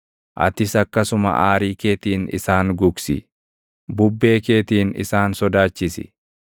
atis akkasuma aarii keetiin isaan gugsi; bubbee keetiin isaan sodaachisi.